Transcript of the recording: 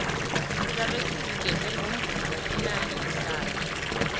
sizabe sizigedle ngomvumo omnandi kusasa